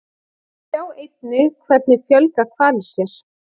Sjá einnig Hvernig fjölga hvalir sér?